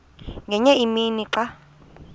ngenye imini xa